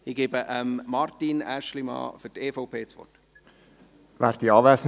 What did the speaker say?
Ich gebe Martin Aeschlimann für die EVP das Wort.